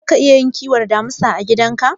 Zaka iya kiwon damisa a gidan ka?